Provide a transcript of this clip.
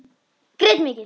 Grét mikið.